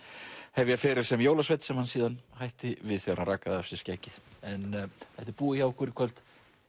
hefja feril sem jólasveinn sem hann síðan hætti við þegar hann rakaði af sér skeggið en þetta er búið hjá okkur í kvöld